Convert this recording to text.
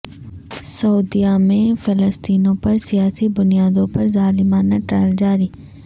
سعودیہ میں فلسطینیوں پر سیاسی بنیادوں پر ظالمانہ ٹرائل جاری